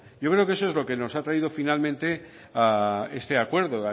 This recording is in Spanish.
yo creo que eso es lo que nos ha traído finalmente a este acuerdo